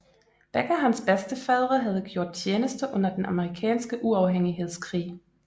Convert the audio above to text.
Begge hans bedstefædre havde gjort tjeneste under den amerikanske uafhængighedskrig